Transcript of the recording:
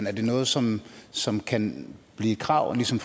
er det noget som som kan blive et krav ligesom